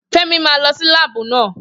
Femi máa lọ sí láàbù náà